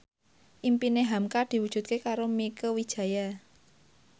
impine hamka diwujudke karo Mieke Wijaya